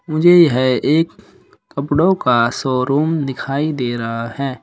मुझे यह एक कपड़ों का शोरूम दिखाई दे रहा है।